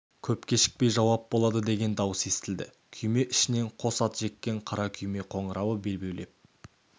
көп кешікпей жауап болады деген дауыс естілді күйме ішінен қос ат жеккен қара күйме қоңырауы бебеулеп